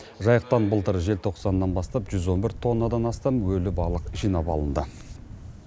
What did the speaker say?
жайықтан былтыр желтоқсаннан бастап жүз он бір тоннадан астам өлі балық жинап алынды